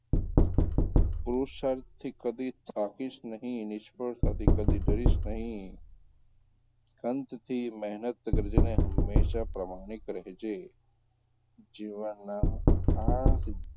પુરુષાર્થથી કદી થાકીશ નહીં, નિષ્ફળતાથી કદી ડરીશ નહીં મહેનત કરજે અને હમેશાં પ્રમાણિક રહેજે જીવનનાં આ,